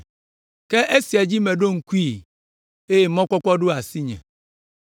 Ke esia dzi meɖo ŋkue eye mɔkpɔkpɔ ɖo asinye: